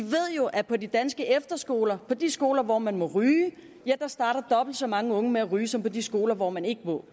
jo at på de danske efterskoler på de skoler hvor man må ryge starter dobbelt så mange unge med at ryge som på de skoler hvor man ikke må